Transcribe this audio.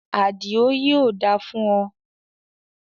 Àdìó, yóò da fún o